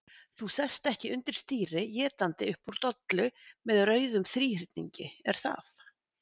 Þú sest ekki undir stýri étandi upp úr dollu með rauðum þríhyrningi, er það?